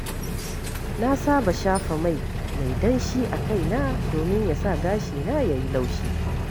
Na saba shafa mai mai danshi a kaina domin ya sa gashina ya yi laushi.